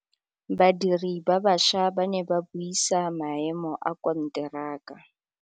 Badiri ba baša ba ne ba buisa maêmô a konteraka.